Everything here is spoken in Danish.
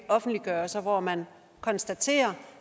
offentliggøres og hvor man konstaterer